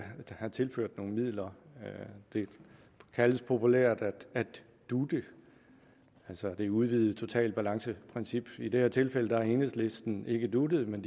have tilført nogle midler det kaldes populært at dute altså det udvidede totalbalanceprincip i det her tilfælde har enhedslisten ikke dutet men